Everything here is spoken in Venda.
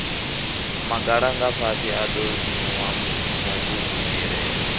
magalangafhasi a ḓo simuwa mugugumelani